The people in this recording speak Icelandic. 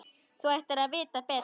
Þú ættir að vita betur!